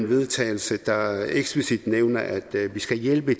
vedtagelse der eksplicit nævner at vi skal hjælpe